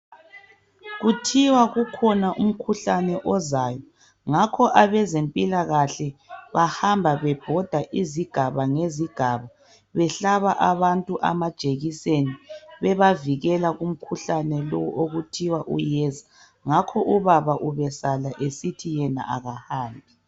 Kuthiwa kukhona umkhuhlane ozayo, ngakho abezempilakahle bahamba bebhoda izigaba ngezigaba, behlaba abantu amajekiseni bebavikela kumkhuhlane lowo okuthiwa uyeza. Ngakho ubaba ubesala esithi yena akahambi.